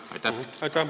Aitäh!